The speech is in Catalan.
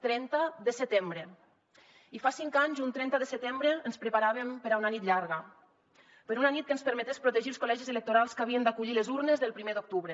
trenta de setembre i fa cinc anys un trenta de setembre ens preparàvem per a una nit llarga per a una nit que ens permetés protegir els col·legis electorals que havien d’acollir les urnes del primer d’octubre